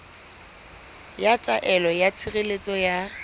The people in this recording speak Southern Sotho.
ya taelo ya tshireletso ya